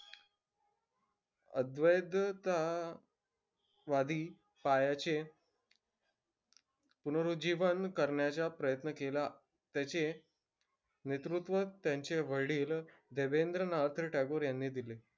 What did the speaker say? वादी पायाचे पुनरुज्जीवन करण्याचा प्रयत्न केला. त्याचे नेतृत्व त्यांचे वडील देवेंद्रनाथ टागोर यांनी दिले.